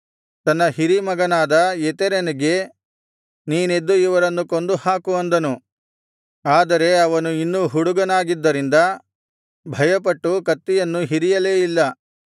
ತನ್ನ ಹಿರೀ ಮಗನಾದ ಎತೆರನಿಗೆ ನೀನೆದ್ದು ಇವರನ್ನು ಕೊಂದುಹಾಕು ಅಂದನು ಆದರೆ ಅವನು ಇನ್ನೂ ಹುಡುಗನಾಗಿದ್ದರಿಂದ ಭಯಪಟ್ಟು ಕತ್ತಿಯನ್ನು ಹಿರಿಯಲೇ ಇಲ್ಲ